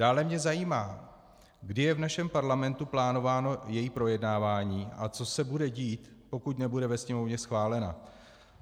Dále mě zajímá, kdy je v našem Parlamentu plánováno její projednávání a co se bude dít, pokud nebude ve Sněmovně schválena.